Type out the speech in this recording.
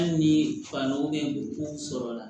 Hali ni fan dɔ bɛ ko sɔrɔla la